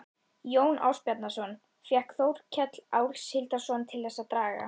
Jón Ásbjarnarson fékk Þórkel Áshildarson til þess að draga